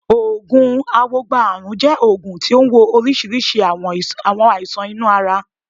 Oògùn awogba ààrùn jẹ́ oògùn tí ó ń wo oríṣiríṣi àwọn àìsàn inú ara.